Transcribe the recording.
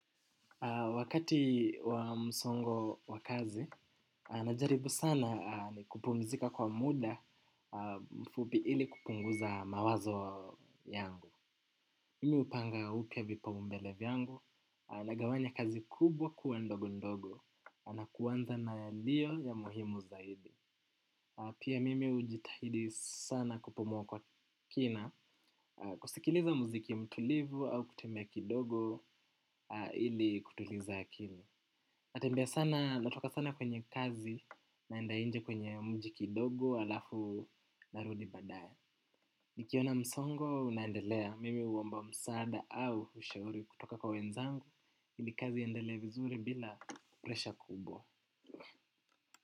Wakati wa msongo wa kazi, najaribu sana ni kupumzika kwa muda mfupi ili kupunguza mawazo yangu. Mimu hupanga upya vipaumbele vyangu nagawanya kazi kubwa kuwa ndogo ndogo na kuanza na yaliyo ya muhimu zaidi. Pia mimi hujitahidi sana kupumua kwa kina kusikiliza muziki mtulivu au kutembea kidogo ili kutuliza akili. Natoka sana kwenye kazi naenda nje kwenye mji kidogo alafu narudi badaye. Nikiona msongo unaendelea mimi huomba msaada au ushauri kutoka kwa wenzangu ili kazi iendelee vizuri bila presha kubwa.